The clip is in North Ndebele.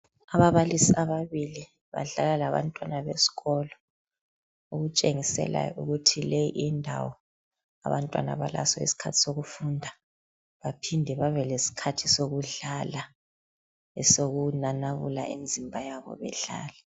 ababalisi ababili badlala labantwana besikolo okutsheniselayo ukuthi leyi indawo abantwana balaso isikhathi sokufunda baphinde babe lesikhathi sokudlala esokunanabula imizimba yabo bedlala